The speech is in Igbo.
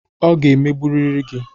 Ọ ga-emegburiri gị.